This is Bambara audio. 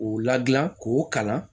K'u ladilan k'o kalan